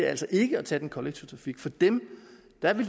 altså ikke at tage den kollektive trafik for dem